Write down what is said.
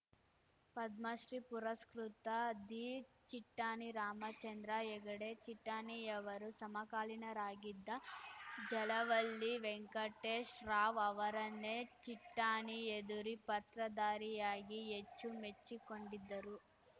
ಪದ್ಮಶ್ರೀ ಪುರಸ್ಕೃತ ದಿಚಿಟ್ಟಾಣಿ ರಾಮಚಂದ್ರ ಹೆಗಡೆ ಚಿಟ್ಟಾಣಿಯವರು ಸಮಕಾಲೀನರಾಗಿದ್ದ ಜಲವಳ್ಳಿ ವೆಂಕಟೇಶ್‌ ರಾವ್‌ ಅವರನ್ನೇ ಚಿಟ್ಟಾಣಿ ಎದುರು ಪಾತ್ರಧಾರಿಯಾಗಿ ಎಚ್ಚು ಮೆಚ್ಚಿಕೊಂಡಿದ್ದರು